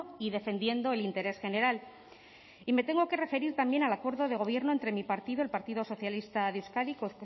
y defendiendo el interés general y me tengo que referir también al acuerdo de gobierno entre mi partido el partido socialista de euskadi